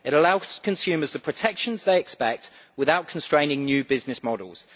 It allows consumers to have the protection they expect without constraining new business models.